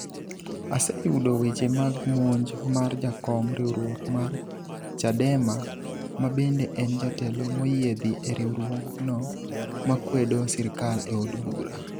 "aseyudo weche mag monj mar jakom riwruok mar Chadema ma bende en jatelo moyiedhi e riwruogno makwedo sirkal e od bura